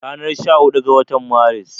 Ranar sha hudu ga watan Maris